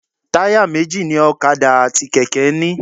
Táyà méjì ni ọ̀kadà àti kẹ̀kẹ́ ń ní.